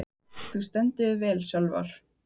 Þú stendur þig vel, Sölvar!